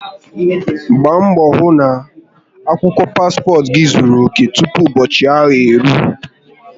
Gbaa mbo hu na akwukwo paspot gi zuru oke tupu ubochi ahu eruo